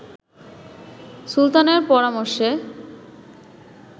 সুলতানের পরামর্শে